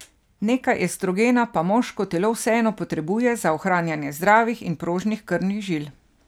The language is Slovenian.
Nekaj estrogena pa moško telo vseeno potrebuje za ohranjanje zdravih in prožnih krvnih žil.